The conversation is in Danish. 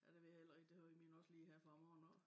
Ja det ved jeg heller ikke det har min også lige her fra morgenen af